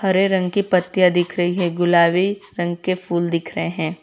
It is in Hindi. हरे रंग की पत्तियां दिख रही है गुलाबी रंग के फूल दिख रहे हैं।